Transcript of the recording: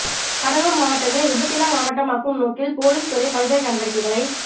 கடலுார் மாவட்டத்தை விபத்தில்லா மாவட்டமாக்கும் நோக்கில் போலீஸ் துறை பல்வேறு நடவடிக்கைகளை